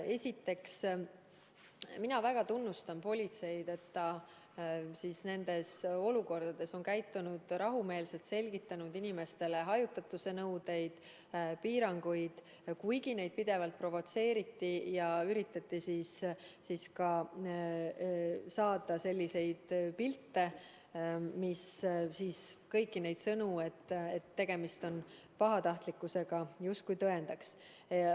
Esiteks, mina väga tunnustan politseid, et ta nendes olukordades on käitunud rahumeelselt, selgitanud inimestele hajutatuse nõudeid, piiranguid, kuigi neid pidevalt provotseeriti ja üritati saada selliseid pilte, mis kõiki neid sõnu, et tegemist on pahatahtlikkusega, justkui tõendaks.